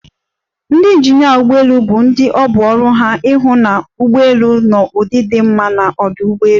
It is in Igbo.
Ndị injinịa ụgbọelu bụ ndị ọ bụ ọrụ ha ịhụ na ụgbọelu nọ n'ụdị di mma n'ọdụ ụgbọelu.